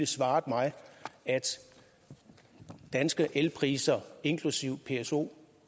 svaret mig at danske elpriser inkl pso